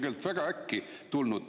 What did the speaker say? Need on väga äkki tulnud.